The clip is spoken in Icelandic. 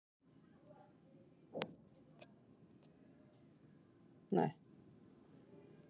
Því hefur alltaf verið nóg af trjám handa honum, til að nátta sig í.